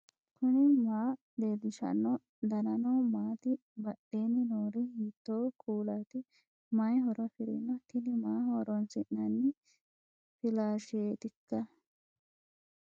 knuni maa leellishanno ? danano maati ? badheenni noori hiitto kuulaati ? mayi horo afirino ? tini maaho horoonis'nanni flasheetikka